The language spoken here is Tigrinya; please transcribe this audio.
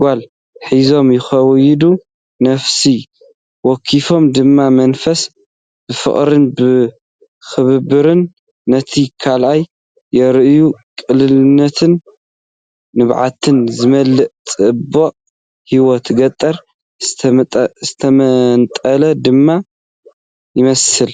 ጓል ሒዙ ይኸይድ፣ ነፍሲ ወከፎም ድማ መንፈስ ፍቕርን ምክብባርን ነቲ ካልእ የርእዩ። ቅልልነትን ንብዓት ዝመልኦ ጽባቐን ህይወት ገጠር ዝተመንጠለ ድማ ይመስል።